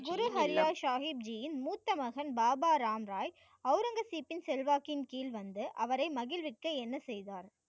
ஹரி ராய் சாஹிப்சியின் மூத்த மகன் பாபா ராம் ராய் அவுரங்கசீப்பின் செல்வாக்கின் கீழ் வந்து அவரை மகிழ்விக்க என்ன செய்தார்?